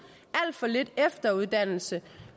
alt for lidt efteruddannelse